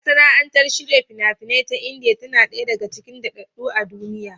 Masana'antar shirya fina-finai ta Indiya tana ɗaya daga cikin daɗaɗɗu a duniya.